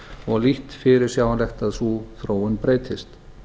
og lítt fyrirsjáanlegt að sú þróun breytist